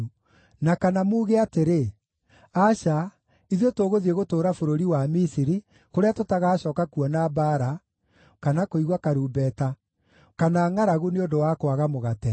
na kana muuge atĩrĩ, ‘Aca, ithuĩ tũgũthiĩ gũtũũra bũrũri wa Misiri, kũrĩa tũtagacooka kuona mbaara, kana kũigua karumbeta, kana ngʼaragu nĩ ũndũ wa kwaga mũgate,’